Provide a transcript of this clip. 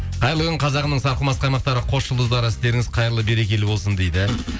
қайырлы күн қазағымның сарқымас қаймақтары қос жұлдыздары істеріңіз хайырлы берекелі болсын дейді